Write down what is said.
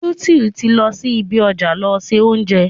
Beauty ti lọ sí ibi ọjà lọ se oúnjẹ.